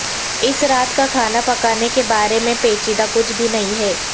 اس رات کا کھانا پکانے کے بارے میں پیچیدہ کچھ بھی نہیں ہے